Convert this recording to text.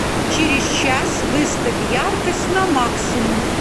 через час выставь яркость на максимум